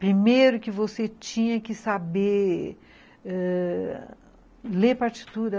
Primeiro que você tinha que saber ãh ler partitura.